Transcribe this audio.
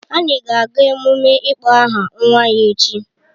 Anyị ga-aga emume ịkpọ aha nwa ya echi